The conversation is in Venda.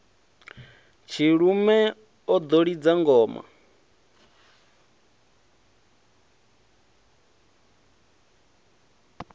tshilume o ḓo lidza ngoma